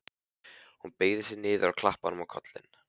Hún beygði sig niður og klappaði honum á kollinn.